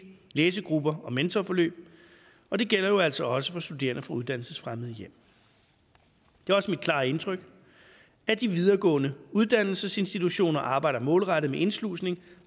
læsegrupper og mentorforløb og det gælder jo altså også for studerende fra uddannelsesfremmede hjem det er også mit klare indtryk at de videregående uddannelsesinstitutioner arbejder målrettet med indslusning